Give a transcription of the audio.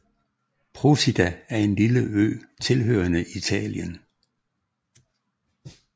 Procida er en lille ø tilhørende Italien